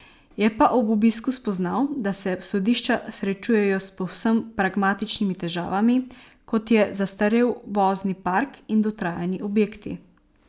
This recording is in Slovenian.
Je pa ob obisku spoznal, da se sodišča srečujejo s povsem pragmatičnimi težavami, kot je zastarel vozni park in dotrajani objekti.